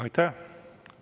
Aitäh!